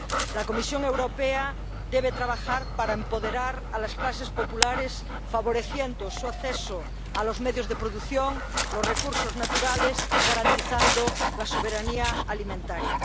La Comisión Europea debe trabajar para empoderar a las clases populares, favoreciendo su acceso a los medios de producción, los recursos naturales, y garantizando la soberanía alimentaria.